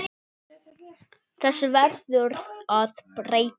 Þessu verður að breyta.